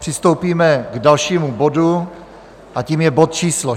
Přistoupíme k dalšímu bodu a tím je bod číslo